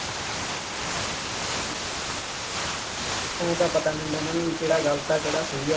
ਆੲੈਂ ਤਾਂ ਪਤਾ ਨਹੀਂ ਹੁੰਦਾ ਇਹਨਾ ਨੂੰ ਬਈ ਕਿਹੜਾ ਗਲਤ ਹੈ, ਕਿਹੜਾ ਸਹੀ ਹੈ।